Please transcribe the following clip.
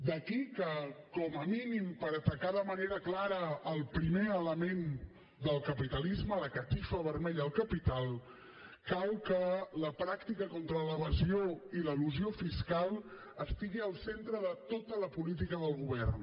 d’aquí que com a mínim per atacar de manera clara el primer element del capitalisme la catifa vermella del capital cal que la pràctica contra l’evasió i l’elusió fiscal estigui al centre de tota la política del govern